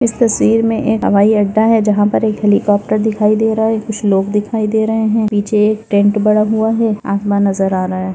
इस तस्वीर मे एक हवाईअड्डा है जहां पर एक हेलीकॉप्टर दिखाई दे रहा है कुछ लोग दिखाई दे रहे है पीछे एक टेंट बना हुआ है आसमान नजर आ रहा है।